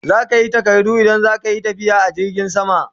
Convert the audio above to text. Sai kayi takardu idan zaka Yi tafiya da jirgin sama